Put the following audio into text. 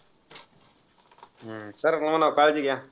हम्म sir क~ म्हणावं, काळजी घ्या.